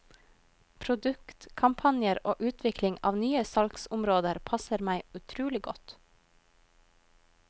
Produktkampanjer og utvikling av nye salgsområder passer meg utrolig godt.